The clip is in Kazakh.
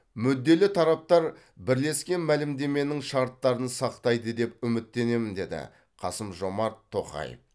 мүдделі тараптар бірлескен мәлімдеменің шарттарын сақтайды деп үміттенемін деді қасым жомарт тоқаев